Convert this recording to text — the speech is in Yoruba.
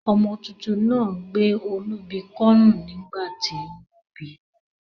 Ọmọ tuntun náà gbé olúbi kọ́rùn nígbà tí wọ́n bíi